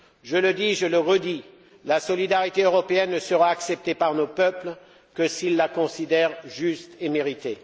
Je le dis et je le redis la solidarité européenne ne sera acceptée par nos peuples que s'ils la considèrent juste et méritée.